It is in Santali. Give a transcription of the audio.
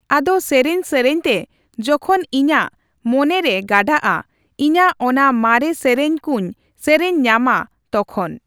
ᱟᱫᱚ ᱥᱮᱨᱮᱧᱼᱥᱮᱨᱮᱧ ᱛᱮ ᱡᱚᱠᱷᱚᱱ ᱤᱧᱟᱹᱜ ᱢᱚᱱᱮ ᱨᱮ ᱜᱟᱰᱟᱜᱼᱟ; ᱤᱧᱟᱹᱜ ᱚᱱᱟ ᱢᱟᱨᱮ ᱥᱮᱨᱮᱧ ᱠᱩᱧ ᱥᱮᱨᱮᱧ ᱧᱟᱢᱟ ᱛᱚᱠᱷᱚᱱ᱾